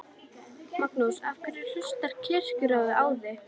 Magnús: Af hverju hlustar Kirkjuráð á þig?